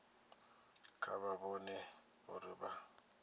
kha vha vhone uri vha